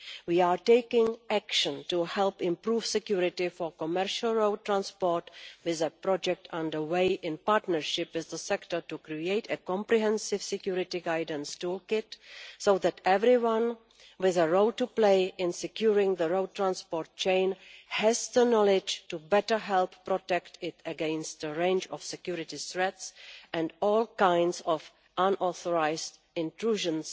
We are taking action to help improve security for commercial road transport with a project underway, in partnership with the sector, to create a comprehensive security guidance toolkit so that everyone with a role to play in securing the road transport chain has the knowledge to better help protect it against a range of security threats and all kinds of unauthorised intrusions